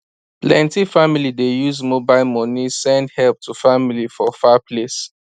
plenty family dey use mobile money send help to family for far place